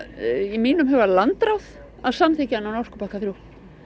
í mínum huga landráð að samþykkja orkupakka þriðja